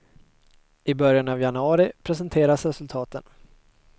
I början av januari presenteras resultaten.